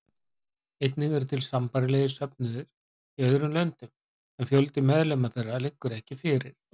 Einnig eru til sambærilegir söfnuðir í öðrum löndum en fjöldi meðlima þeirra liggur ekki fyrir.